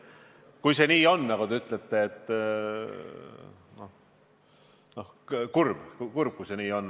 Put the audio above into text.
Kui see nii on, nagu te ütlete – no kurb, kui see nii on.